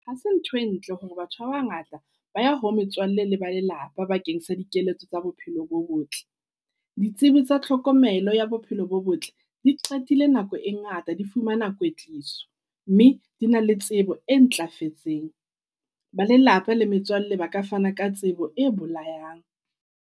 Ha se ntho e ntle hore batho ba bangata ba ya ho metswalle le ba lelapa bakeng sa dikeletso tsa bophelo bo botle. Ditsebi tsa tlhokomelo ya bophelo bo botle di qetile nako e ngata di fumana kwetliso. Mme di na le tsebo e ntlafetseng. Ba lelapa le metswalle ba ka fana ka tsebo e bolayang.